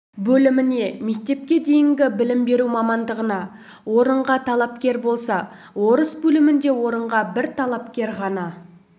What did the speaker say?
бөліміне мектепке дейінгі білім беру мамандығына орынға талапкер болса орыс бөлімінде орынға бір талапкер ғана